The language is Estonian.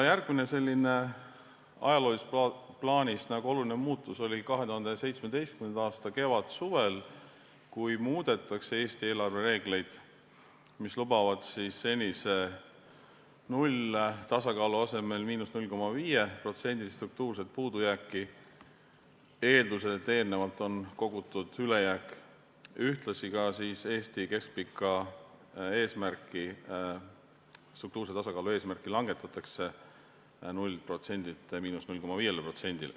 Järgmine ajaloolises plaanis oluline muutus oli 2017. aasta kevadsuvel, kui muudeti Eesti eelarvereegleid, lubades senise 0-tasakaalu asemel –0,5%-list struktuurset puudujääki, eeldusel, et eelnevalt on kogutud ülejääk, ühtlasi Eesti keskpikka eesmärki, struktuurse tasakaalu eesmärki langetati 0%-lt –0,5%-le.